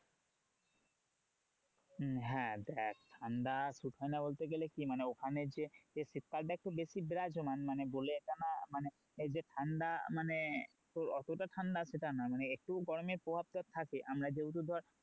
হম হ্যাঁ দেখ ঠান্ডা suit হয় না বলতে গেলে কি মানে ওখানে যে শীত কালটা একটু বেশি বিরাজমান মানে বলে মানে যে ঠান্ডা মানে অতটা ঠান্ডা সেটা না মানে একটু গরমের প্রভাব টা থাকে আমরা যেহুতু ধর